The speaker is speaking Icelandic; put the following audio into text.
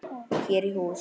Hér í hús